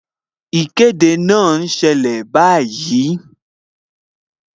Ìkéde náà ń ṣẹlẹ̀ báyìí